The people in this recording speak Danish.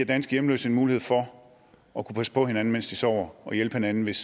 danske hjemløse en mulighed for at kunne passe på hinanden mens de sover og hjælpe hinanden hvis